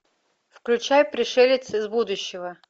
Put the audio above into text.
включай пришелец из будущего